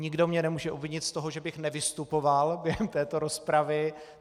Nikdo mě nemůže obvinit z toho, že bych nevystupoval během této rozpravy.